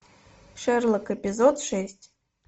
шерлок эпизод шесть